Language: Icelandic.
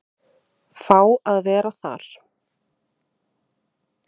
Fá að vera þar.